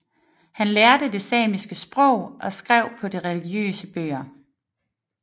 Han lærte der det samiske sprog og skrev på det religiøse bøger